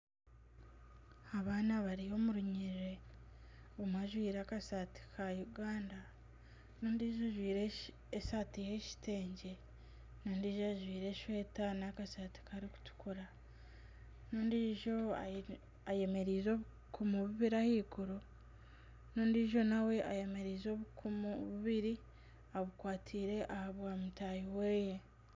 Abaana bari omu runyiriri omwe ajwire akasati ka Uganda n'ondiijo ajwire esaati y'ekitengye n'ondiijo ajwire eshweta n'akashati karikutukura n'ondiijo ayemereize obukumu bubiri ahaiguru n'ondiijo nawe eyemereize obukumu bubiri abukwatiire aha bwa mutaahi we